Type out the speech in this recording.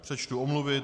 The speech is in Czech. Přečtu omluvy.